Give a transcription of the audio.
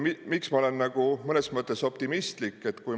Miks ma olen nagu mõnes mõttes optimistlik?